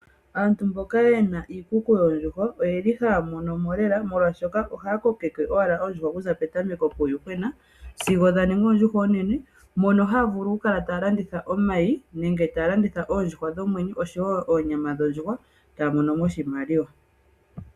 Aantu mboka ye na iikuku yoondjuhwa oyeli haya monomo lela molwashoka ohaya kokeke oondjuhwa okuza petameko puuyuhwena sigo dha ningi oondjuhwa oonene mono haya vulu okukala taya landitha omayi nenge taya landitha oondjuhwa dhomwenyo oshowo oonyama dhondjuhwa e taya monomo oshimaliwa.